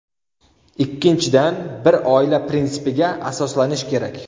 Ikkinchidan, bir oila prinsipiga asoslanish kerak.